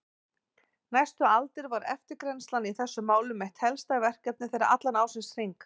Næstu aldir var eftirgrennslan í þessum málum eitt helsta verkefni þeirra allan ársins hring.